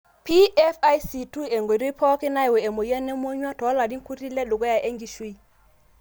PFIC2 nkoitoi pokin nayau emoyian emonyua tolarin kutii ledukuya enkishui.